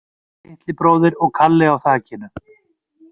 Litli bróðir og Kalli á þakinu